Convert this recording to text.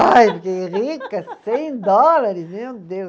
Ai, fiquei rica, cem dólares, meu Deus.